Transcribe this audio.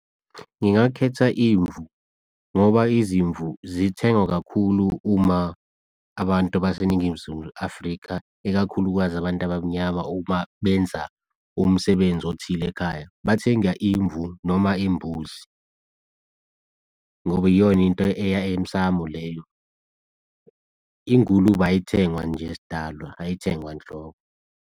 Ngingakhetha imvu, ngoba izimvu zithengwa kakhulu uma abantu baseNingizimu Afrika ikakhulukazi abantu abamnyama uma benza umsebenzi othile ekhaya. Bathenga imvu noma imbuzi, ngoba iyona into eya emsamu leyo ingulube ayithengwa nje sidalwa, ayithengwa nhlobo.